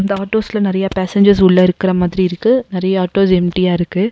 இந்த ஆட்டோஸ்ல நெறையா பேசஞ்சர்ஸ் உள்ள இருக்க மாதிரி இருக்கு நெறையா ஆட்டோஸ் எம்டியா இருக்கு